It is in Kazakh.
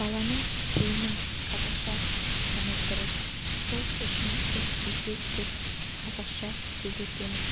баланың тілінің қазақша шыққаны дұрыс сол үшін біз үйде тек қазақша сөйлесеміз